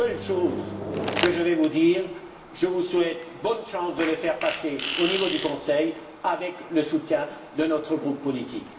La seule chose que j'ajouterais, c'est que je vous souhaite bonne chance pour le faire passer au niveau du Conseil, avec le soutien de notre groupe politique.